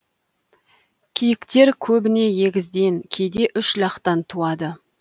киіктер көбіне егізден кейде үш лақтан туады